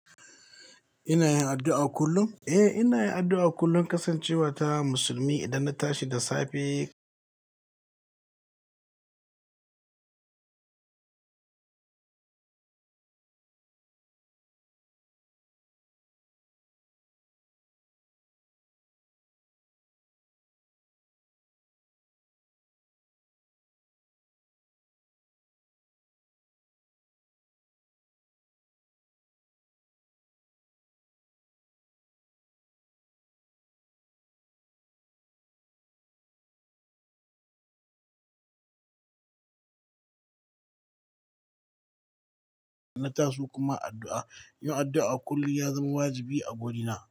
Ina yin addu'a kullum? Eh, ina yin addu'a kullum kasancewa ta musulmi idan na tashi da safe na taso kuma addu'a. Yin addu'a kullum ya zama wajibi a guri na.